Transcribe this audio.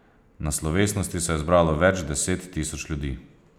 Na slovesnosti se je zbralo več deset tisoč ljudi.